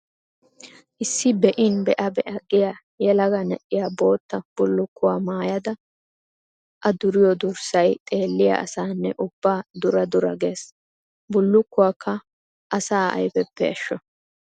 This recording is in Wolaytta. Issi be'in be'a be'a giya yelaga na'iya bootta bullukkuwa maayadda a duriyo durssay xeelliya asaanne ubba dura dura gees! Bullukuwakka asaa ayfeppe ashsho.